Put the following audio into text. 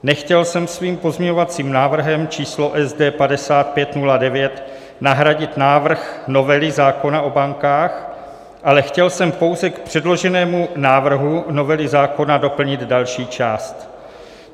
Nechtěl jsem svým pozměňovacím návrhem číslo SD5509 nahradit návrh novely zákona o bankách, ale chtěl jsem pouze k předloženému návrhu novely zákona doplnit další část.